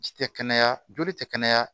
Ji tɛ kɛnɛya joli tɛ kɛnɛya